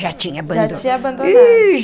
Já tinha abandonado. Já tinha abandonado. Ih.